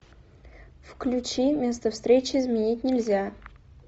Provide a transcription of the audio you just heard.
включи место встречи изменить нельзя